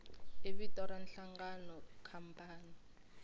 i vito ra nhlangano khampani